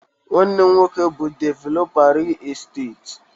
Nwanne m nwoke bụ developa ril esteti.